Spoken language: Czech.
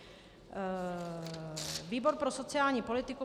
Výbor pro sociální politiku